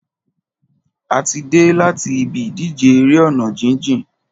A ti dé láti ibi ìdíje eré ọ̀nà jíjìn.